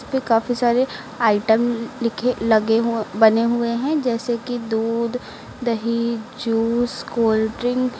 ये काफी सारे आइटम लिखे लगे हो बने हुए हैं जैसे कि दूध दही जूस कोल्डड्रिंक --